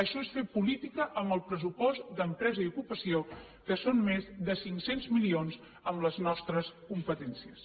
això és fer política amb el pressupost d’empresa i ocupació que són més de cinc cents milions amb les nostres competències